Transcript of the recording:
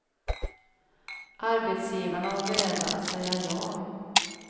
Arbetsgivarna var beredda att säga ja.